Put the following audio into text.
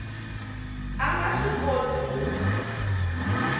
a nga swi koti ku